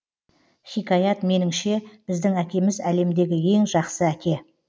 хикаят меніңше біздің әкеміз әлемдегі ең жақсы әке